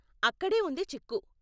అక్కడే ఉంది చిక్కు.